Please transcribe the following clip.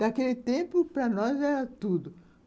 Naquele tempo, para nós, era tudo.